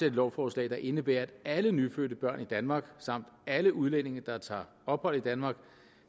et lovforslag der indebærer at alle nyfødte børn i danmark samt alle udlændinge der tager ophold i danmark